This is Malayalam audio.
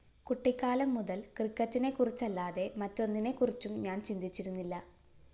കുട്ടിക്കാലം മുതല്‍ ക്രിക്കറ്റിനെ കുറിച്ചല്ലാതെ മറ്റൊന്നിനെ കുറിച്ചും ഞാന്‍ ചിന്തിച്ചിരുന്നില്ല